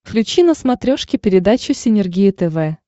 включи на смотрешке передачу синергия тв